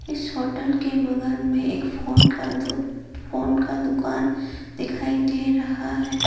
इस होटल के बगल में एक फोन का दो फोन का दुकान दिखाई दे रहा है।